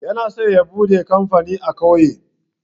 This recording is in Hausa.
Yana so ya buɗe kamfani a ƙauye.